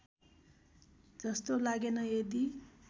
जस्तो लागेन यदि